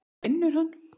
Hvar vinnur hann?